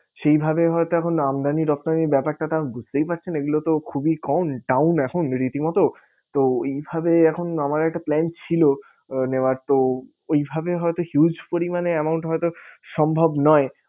সেই ভাবে হয় তো এখন আমদানি রপ্তানির ব্যাপারটা কারণ বুঝতেই পারছেন এইগুলো তো খুবই কম down এখন রীতি মতো তো এইভাবে এখন আমার একটা plan ছিল নেওয়ার তো ওই ভাবে হয়তো huge পরিমানে amount হয়তো সম্ভব নয়